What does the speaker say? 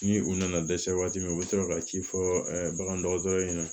Ni u nana dɛsɛ waati min na u be sɔrɔ ka ci fɔ bagandɔgɔtɔrɔ ɲɛna